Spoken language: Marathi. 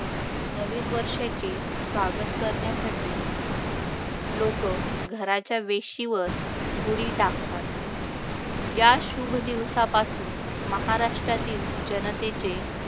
नवीन वर्षाचे स्वागत करण्यासाठी लोकं घराच्या वेशीवर गुढी टाकतात या शुभ दिवसापासून महाराष्ट्रातील जनतेचे